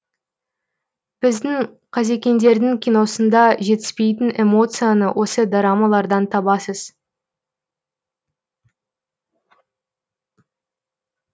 біздің қазекеңдердің киносында жетіспейтін эмоцияны осы дорамалардан табасыз